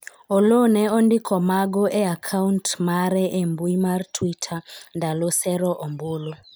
Oloo ne ondiko mago e akaunt mare e mbui mar twitter ndalo sero ombulu